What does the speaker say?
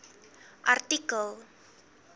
artikel